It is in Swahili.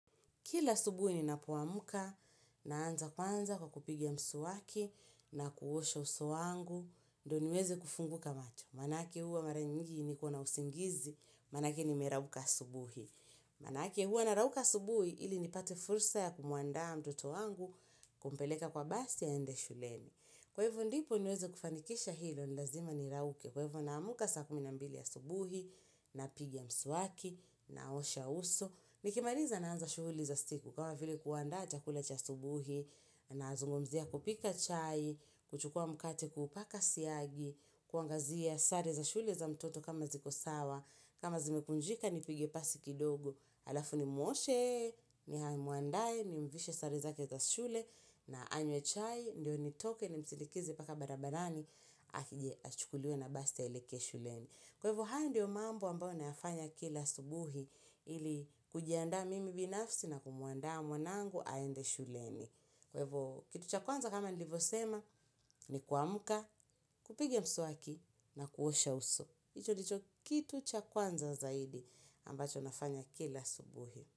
Kila subuhi ninapoamka naanza kwanza kwa kupiga mswaki na kuosha uso wangu, ndo niweze kufunguka macho. Manake huwa mara nyingi nikona usingizi, manake nimerauka asubuhi. Manake huwa narauka asubuhi ili nipate fursa ya kumuandaa mtoto wangu kumpeleka kwa basi aende shuleni. Kwa hivo ndipo niweze kufanikisha hilo ni lazima nirauke. Kwa hivo naamka saa kumi na mbili asubuhi napiga mswaki naosha uso. Nikimaliza naanza shughuli za siku kama vile kuandaa chakula cha asubuhi nazungumzia kupika chai, kuchukua mkate kuupaka siagi, kuangazia sare za shule za mtoto kama ziko sawa, kama zimekunjika nipige pasi kidogo, alafu nimwoshe, nimwandae, nimvishe sare zake za shule na anywe chai, ndio nitoke nimsindikize paka barabarani, akije achukuliwe na basi aelekee shuleni. Kwaivo haya ndiyo mambo ambayo nayafanya kila asubuhi ili kujiandaa mimi binafsi na kumuandaa mwanangu aende shuleni. Kwaivo kitu cha kwanza kama nilivosema ni kuamka, kupiga mswaki na kuosha uso. Hicho ndicho kitu cha kwanza zaidi ambacho nafanya kila asubuhi.